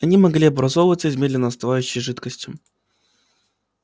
они могли образоваться из медленно остывающей жидкости